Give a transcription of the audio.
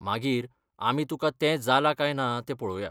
मागीर आमी तुकां तें जालां कांय ना तें पळोवया.